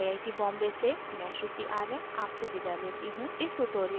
I I T Bombay से मैं श्रुति आर्य आपसे विदा लेती हूँ